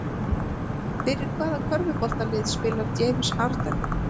Fyrir hvaða körfuboltalið spilar James Harden?